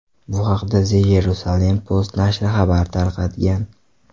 Bu haqda The Jerusalem Post nashri xabar tarqatgan.